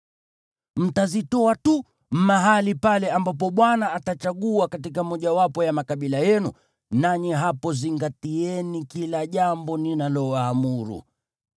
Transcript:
Mtazitoa tu mahali pale ambapo Bwana atachagua katika mojawapo ya makabila yenu, nanyi hapo zingatieni kila jambo ninalowaamuru.